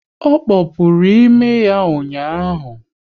Ọ kpopuru imi ya ụnyaahụ